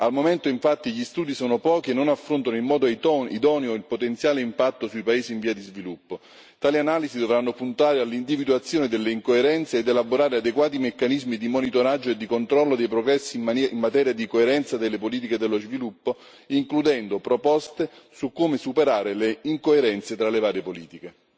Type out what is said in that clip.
Al momento, infatti, gli studi sono pochi e non affrontano in modo idoneo il potenziale impatto sui paesi in via di sviluppo. Tali analisi dovranno puntare all'individuazione delle incoerenze ed elaborare adeguati meccanismi di monitoraggio e di controllo dei progressi in materia di coerenza delle politiche dello sviluppo, includendo proposte su come superare le incoerenze tra le varie politiche.